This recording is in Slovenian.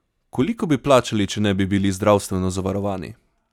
Koliko bi plačali, če ne bi bili zdravstveno zavarovani?